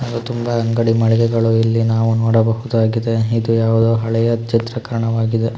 ಹಾಗು ತುಂಬಾ ಅಂಗಡಿ ಮಳಿಗೆಗಳು ಇಲ್ಲಿ ನಾವು ನೋಡಬಹುದಾಗಿದೆ ಇದು ಯಾವುದೊ ಹಳೆಯ ಚಿತ್ರೀಕರಣವಾಗಿದೆ.